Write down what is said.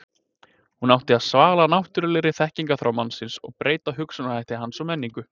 Hún átti að svala náttúrulegri þekkingarþrá mannsins og breyta hugsunarhætti hans og menningu.